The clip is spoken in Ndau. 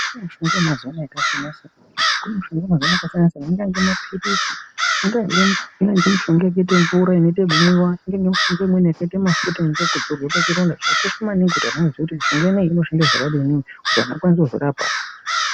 Mushonga yemazuwa anaa yakasiyanasiyana kune mushonga yemazuwa anaa yakasiyanasiyana angange maphirizi ingange mushonga yakaita mvura inoita ekumwiwa ingange mushonga yakaita mafuta ekudzora zvakakosha maningi Kuti antu aziye kt mushonga ineyi inorapa zvakadii Kuti antu akwanise kuzvirapa